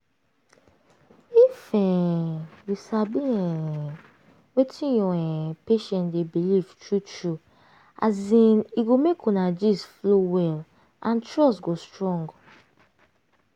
if um you sabi um wetin your um patient dey believe true true as in e go make una gist flow well and trust go strong.